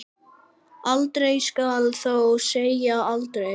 Aldrei skal þó segja aldrei.